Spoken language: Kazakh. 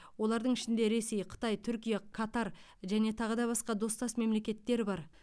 олардың ішінде ресей қытай түркия қатар және тағы да басқа достас мемлекеттер бар